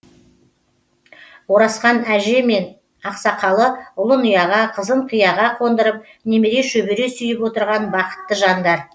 оразхан әже мен ақсақалы ұлын ұяға қызын қиыға қондырып немере шөбере сүйіп отырған бақытты жандар